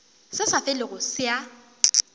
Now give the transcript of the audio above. se sa felego se a